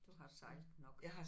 Du har sejlet nok